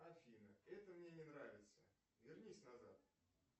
афина это мне не нравится вернись назад